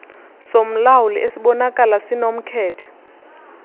somlawuli esibonakala sinomkhethe